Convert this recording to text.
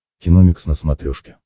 киномикс на смотрешке